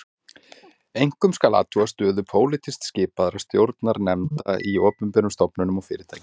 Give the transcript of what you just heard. Einkum skal athuga stöðu pólitískt skipaðra stjórnarnefnda í opinberum stofnunum og fyrirtækjum